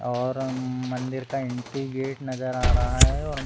और मंदिर का एंट्री गेट नज़र आ रहा है और --